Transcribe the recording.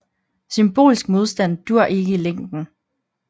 Symbolsk modstand duer ikke i længden